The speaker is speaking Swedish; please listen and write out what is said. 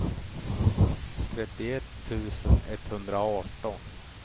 trettioett tusen etthundraarton